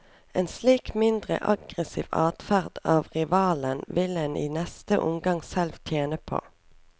En slik mindre aggressiv adferd av rivalen vil en i neste omgang selv tjene på.